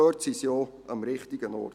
Dort sind sie auch am richtigen Ort.